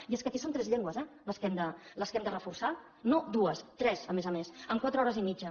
i és que aquí són tres llengües eh les que hem de reforçar no dues tres a més a més amb quatre hores i mitja